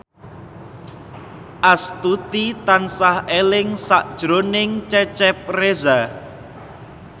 Astuti tansah eling sakjroning Cecep Reza